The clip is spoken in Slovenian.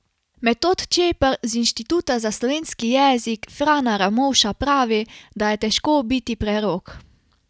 Metod Čepar z Inštituta za slovenski jezik Frana Ramovša pravi, da je težko biti prerok.